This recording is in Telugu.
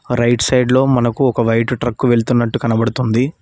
రైట్ సైడ్ లో మనకు ఒక వైట్ ట్రక్ వెళ్తున్నట్టు కనబడుతుంది.